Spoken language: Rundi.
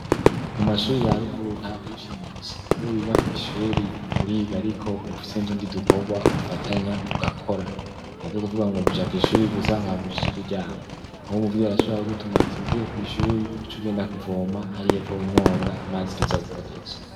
Mu mashuri ya ruguru nta kuyifinisha niwe wiga ku ishuri uriga ariko bufise ntundi dukobwa ufatanya ugakora ntavyo kuvuga ngo nuja ku ishuri gusang ha mushishi kujyama nkuko muviti arashubraka gutuma ati uvuye ku ishuri uce ugenda kuvoma hari yepfo umwonga amazi tuza gukoresha.